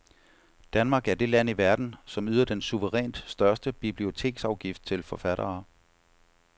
Danmark er det land i verden, som yder den suverænt største biblioteksafgift til forfattere.